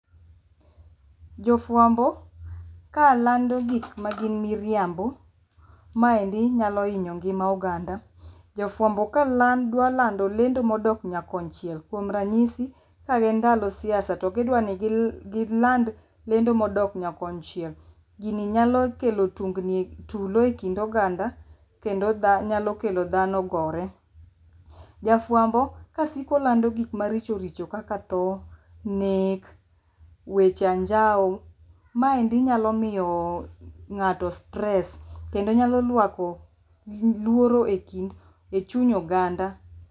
Jofwambo kalando gik magin miriambo maendi nyalo hinyo ngima oganda. Jofwambo kadwa lando lendo modok nyakonchiel kuom ranyisi kagin ndalo siasa to gidani giland lendo modok nyakonchiel gini nyalo kelo tulo e kind oganda kendo nyalo kelo dhano gore. Jafwambo kasiko lando gik maricho richo kaka tho, nek, weche anjawo, maendi nyalo miyo ng'ato stress kendo nyalo rwako luoro e chuny oganda.